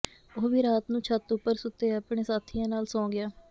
ਉਹ ਵੀ ਰਾਤ ਨੂੰ ਛੱਤ ਉਪਰ ਸੁੱਤੇ ਆਪਣੇ ਸਾਥੀਆਂ ਨਾਲ ਸੌਂ ਗਿਆ